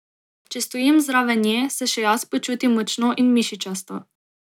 Če stojim zraven nje, se še jaz počutim močno in mišičasto.